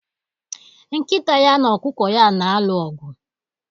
Nkita ya na ọkụkọ ya na-alụ ọgụ